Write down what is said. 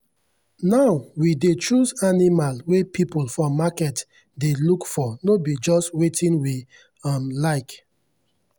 now we dey choose animal wey people for market dey look for no be just wetin we um like.